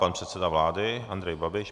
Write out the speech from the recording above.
Pan předseda vlády Andrej Babiš.